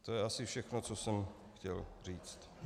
To je asi všechno, co jsem chtěl říct.